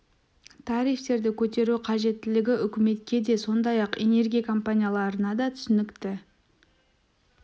тарифтерді көтеру қажеттілігі үкіметке де сондай-ақ энергия компанияларына да түсінікті